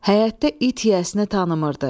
Həyətdə it yiyəsini tanımırdı.